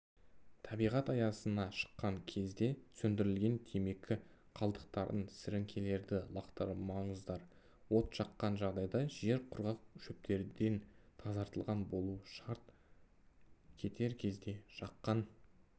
табиғат аясына шыққан кезде сөндірілмеген темекі қалдықтарын сіріңкелерді лақтырмаңыздар от жаққан жағдайда жер құрғақ шөптерден тазартылған болуы шарт кетер кезде жаққан